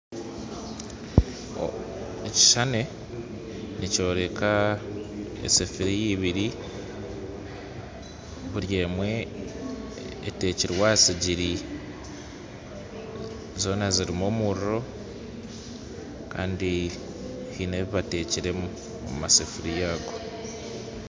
Ekishuushani nikyoreka esafuuriya ebiiri buri emwe etekirwe aha sigiri, zoona zirimu omuriro kandi haine ebi bateekire omu masafuuriya ago